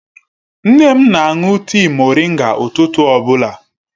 Nne m na-aṅụ tịị moringa ụtụtụ ọbụla.